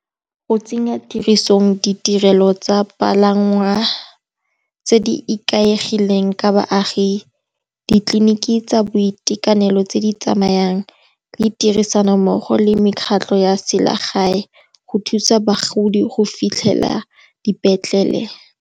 Go tsenya tirisong ditirelo tsa palangwa tse di ikaegileng ka baagi, ditleliniki tsa boitekanelo tse di tsamayang le tirisanommogo le mekgatlho ya selegae, go thusa bagodi go fitlhela dipetlele.